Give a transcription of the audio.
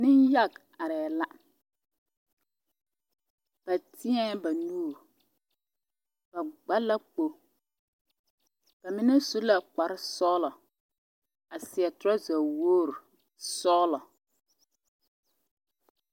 Nenyaɡe arɛɛ la ba tēɛ ba nuuri ba ɡba la kpo ba mine su la kparsɔɡelɔ a seɛ torɔza woor sɔɔlɔ.